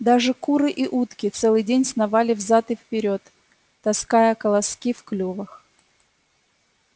даже куры и утки целый день сновали взад и вперёд таская колоски в клювах